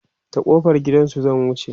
ta kofar gidansu zan wuce